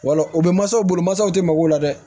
Wala o bɛ mansasaw bolo masaw tɛ mago la dɛ